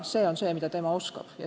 See on see eriline, mida tema oskab.